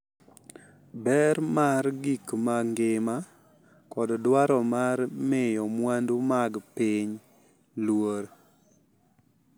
Ber mar gik ma ngima, kod dwaro mar miyo mwandu mag piny luor.